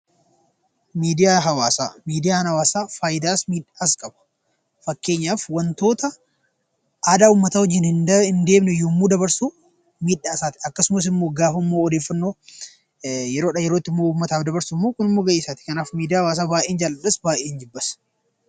Miidiyaan hawaasaa faayidaas miidhaas qaba. Fakkeenyaaf wantoota aadaa uummataa wajjin hin deemne yommuu dabarsu miidhaa isaati akkasumas immoo gaafa odeeffannoo yeroodhaa yerootti uummataaf dabarsu immoo kunimmoo gahee isaati. Kanaaf miidiyaa hawaasaa baay'een jaaladhas baay'een jibbas!